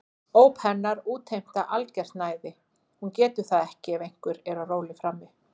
Óp hennar útheimta algert næði, hún getur það ekki ef einhver er á róli frammi.